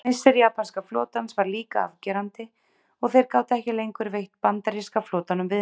Missir japanska flotans var líka afgerandi og þeir gátu ekki lengur veitt bandaríska flotanum viðnám.